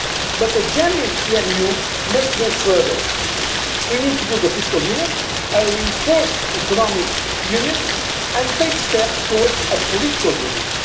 step. But a genuine EMU must go further. We need to build a fiscal union, a reinforced economic union, and take steps towards a political